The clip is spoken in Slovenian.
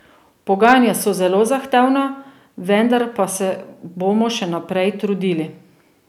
Pogajanja so zelo zahtevna, vendar pa se bomo še naprej trudili.